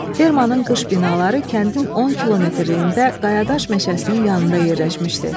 Fermanın qış binaları kəndin 10 kilometrliyində qayadaş meşəsinin yanında yerləşmişdi.